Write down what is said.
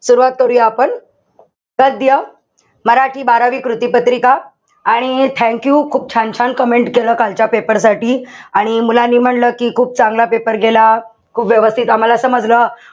सुरवात करूया आपण. गद्य मराठी बारावी कृतिपत्रिका आणि thank you खूप छान-छान comment केलं कालच्या paper साठी. आणि मुलांनी म्हणलं कि खूप चांगला paper गेला. खूप व्यवस्थित आम्हाला समजलं.